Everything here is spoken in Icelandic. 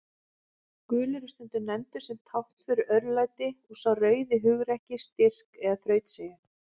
Gulur er stundum nefndur sem tákn fyrir örlæti og sá rauði hugrekki, styrk eða þrautseigju.